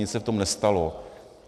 Nic se v tom nestalo.